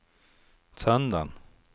söndagen